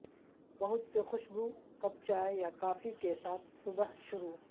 بہت سے خوشبو کپ چائے یا کافی کے ساتھ صبح شروع